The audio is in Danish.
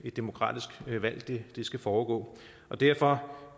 demokratisk valg skal foregå derfor